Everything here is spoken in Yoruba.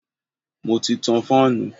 Mo ti tan fáànù.